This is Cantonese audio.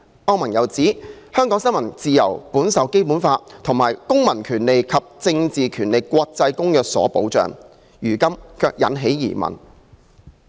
歐盟又指，香港新聞自由本受《基本法》和《公民權利和政治權利國際公約》所保障，如今卻引起疑問。